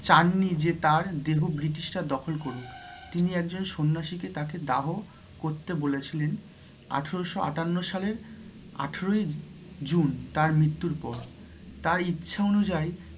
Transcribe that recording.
চান নি যে তাঁর দেহ British রা দখল করুক, তিনি একজন সন্যাসী কে তাকে দাহ করতে বলেছিলেন আঠেরোশো আটান্ন সালের আঠেরোই June তাঁর মৃত্যুর পর তাঁর ইচ্ছা অনুযায়ী